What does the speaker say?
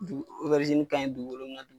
ka ɲi dugukolo